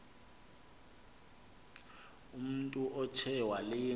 umntu okhe walinga